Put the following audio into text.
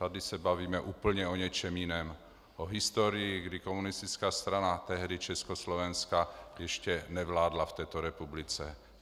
Tady se bavíme úplně o něčem jiném - o historii, kdy komunistická strana - tehdy Československa - ještě nevládla v této republice.